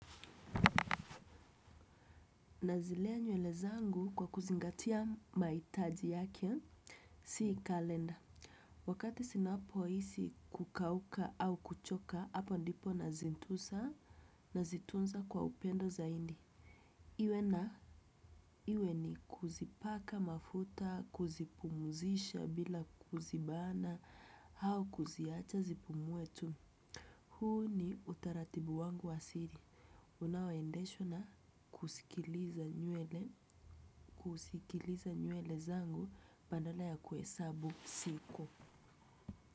Nazilea nywele zangu kwa kuzingatia maitaji yake, sii kalenda. Wakati sinapo isi kukauka au kuchoka, hapa ndipo nazintusa na zitunza kwa upendo zaindi. Iwe na iwe ni kuzipaka mafuta, kuzipumuzisha bila kuzibana, au kuziacha zipumuetu. Huu ni utaratibu wangu wasiri. Unaoe ndeshwa na kusikiliza nywele, kusikiliza nywele zangu badala ya kuhesabu siku.